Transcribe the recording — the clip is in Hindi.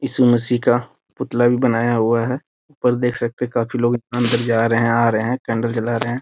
इसु मसीह का पुतला भी बनाया हुआ है ऊपर देख सकते है काफी लोग अंदर जा रहे हैं आ रहे हैं कैंडल जला रहे हैं।